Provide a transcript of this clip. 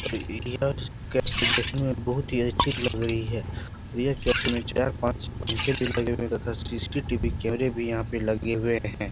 और यह कैफ़े देखने में बहुत ही अच्छी लग रही है और यह कैफे में चार-पांच पंखे भी लगे हुए हैं तथा सी.सी.टी.वी. कैमरे भी यहाँ पे लगे हुए हैं।